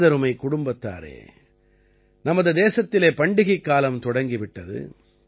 எனதருமைக் குடும்பத்தாரே நமது தேசத்திலே பண்டிகைக்காலம் தொடங்கி விட்டது